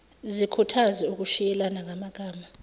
zikhuthaze ukushiyelana ngamagama